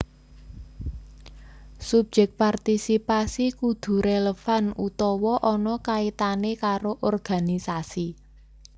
Subyek partisipasi kudu rélevan utawa ana kaitané karo organisasi